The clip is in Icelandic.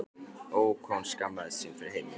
Ó, hvað hún skammaðist sín fyrir heimili sitt.